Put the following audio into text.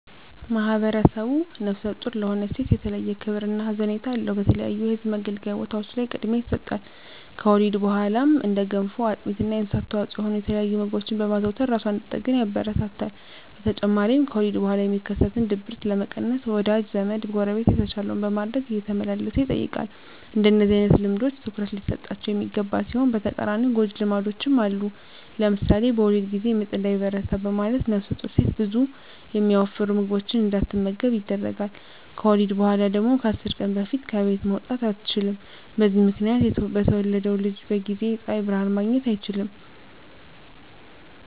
ማህብረሰቡ ነፍሰ ጡር ለሆነች ሴት የተለየ ክብር እና ሀዘኔታ አለው። በተለያዩ የህዝብ መገልገያ ቦታዎች ላይ ቅድሚያ ይሰጣል። ከወሊድ በኋላም እንደ ገንፎ፣ አጥሚት እና የእንስሳት ተዋፅዖ የሆኑ የተለያዩ ምግቦችን በማዘውተር እራሷን እንድትጠግን ያበረታታል። በተጨማሪም ከወሊድ በኋላ የሚከሰትን ድብርት ለመቀነስ ወዳጅ ዘመ፣ ጎረቤት የተቻለውን በማድረግ እየተመላለሰ ይጠይቃል። እንደነዚህ አይነት ልምዶች ትኩረት ሊሰጣቸው የሚገባ ሲሆን በተቃራኒው ጎጅ ልማዶችም አሉ። ለምሳሌ በወሊድ ጊዜ ምጥ እንዳይበረታ በማለት ነፍሰጡር ሴት ብዙ የሚያወፍሩ ምግቦችን እንዳትመገብ ይደረጋል። ከወሊድ በኋላ ደግሞ ከ10 ቀን በፊት ከቤት መውጣት አትችልም። በዚህ ምክንያት የተወለደው ልጅ በጊዜ የፀሀይ ብርሀን ማግኘት አይችልም።